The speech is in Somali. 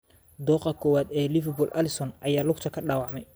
Dooqa koowaad ee Liverpool Alisson ayaa lugta ka dhaawacmay.